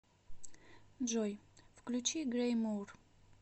джой включи гэри мур